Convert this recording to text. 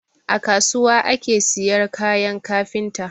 A kasuwa aka siyar kayan kafinta